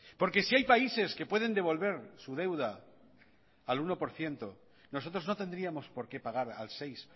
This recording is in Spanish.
porque si hay países que pueden devolver su deuda al uno por ciento nosotros no tendríamos por qué pagar al seis